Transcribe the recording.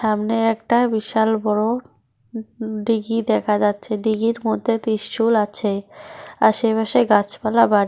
সামনে একটা বিশাল বড়ো হু হু দিঘি দেখা যাচ্ছে দিঘির মধ্যে ত্রিশূল আছে আশেপাশে গাছপালা বাড়ি।